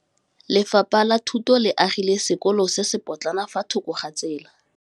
Lefapha la Thuto le agile sekôlô se se pôtlana fa thoko ga tsela.